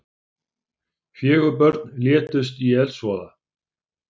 Fjögur börn létust í eldsvoða